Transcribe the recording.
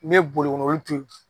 N mɛ boli kɔ n'olu turu